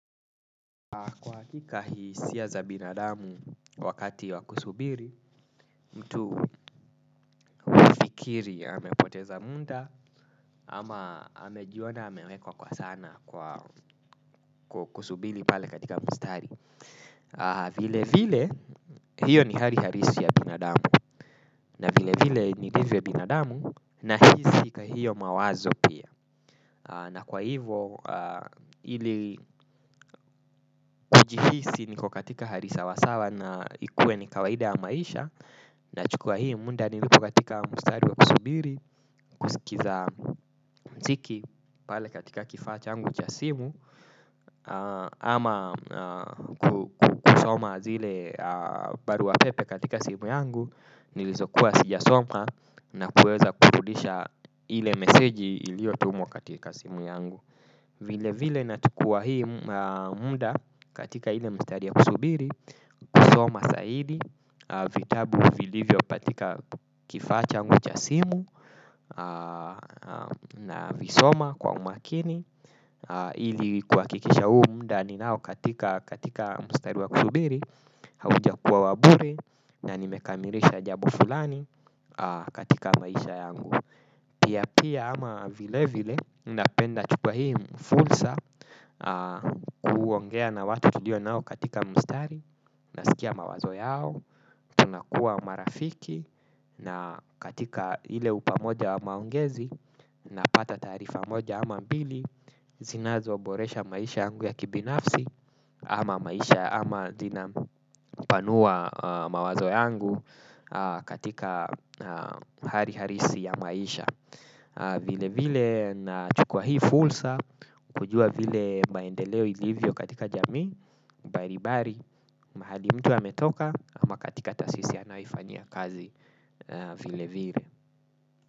Kwa hakika hii hisia za binadamu wakati wa kusubiri mtu hufikiri amepoteza muda ama amejiona amewekwa kwa sana kwa kusubiri pale katika mstari. Vile vile hiyo ni hali halisi ya binadamu na vile vile nilivyo binadamu na hisi kwa hiyo mawazo pia. Na kwa hivo ili kujihisi niko katika hali sawasawa na ikuwe ni kawaida ya maisha. Na chukua hii muda niliko katika mstari wa kusubiri kusikiza mziki pale katika kifaa changu cha simu. Ama kusoma zile baru pepe katika simu yangu nilizokuwa sijasoma na kuweza kurudisha ile meseji iliyo tumwa katika simu yangu. Vile vile na chukua hii muda katika ile mstari ya kusubiri. Kusoma zaidi vitabu vilivyo katika kifaa changu cha simu. Na visoma kwa umakini. Ili kuhakikisha huu muda ninao katika mstari ya kusubiri. Hauja kuwa wa bure na nimekamilisha jambo fulani katika maisha yangu. Pia pia ama vile vile napenda chukua hii fursa kuongea na watu tulio nao katika mstari. Nasikia mawazo yao, tunakua marafiki na katika ile upamoja wa maongezi. Napata taarifa moja ama mbili, zinazo boresha maisha yangu ya kibinafsi. Ama maisha ama zina panua mawazo yangu katika hali halisi ya maisha. Vile vile na chukuwa hii fursa kujua vile maendeleo ilivyo katika jamii mbalimbali mahali mtu ametoka ama katika taasisi anayo ifanyia kazi vile vile.